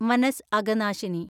മനസ് അഗനാശിനി